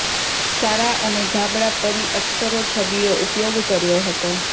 સારા અને ધાબળા પરી અક્ષરો છબીઓ ઉપયોગ કર્યો હતો